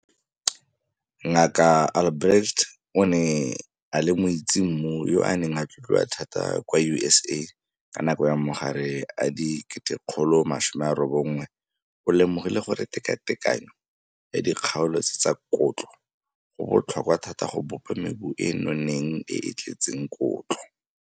Dr Albrecht, o ne a le moitsemmu yo a neng a tlotliwa thata kwa USA ka nako ya magare a di1900, o lemogile gore tekatekanyo ya dikgaolo tse tsa kotlo go botlhokwa thata go bopa mebu e e noneng e e tletseng kotlo.